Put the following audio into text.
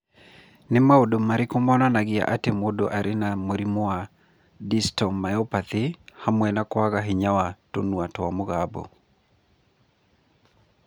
Nĩ maũndũ marĩkũ monanagia atĩ mũndũ arĩ na mũrimũ wa Distal myopathy hamwe na kwaga hinya wa tũnua twa mũgambo?